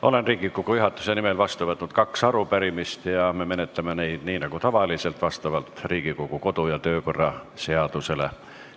Olen Riigikogu juhatuse nimel vastu võtnud kaks arupärimist ja me menetleme neid nii nagu tavaliselt Riigikogu kodu- ja töökorra seaduse alusel.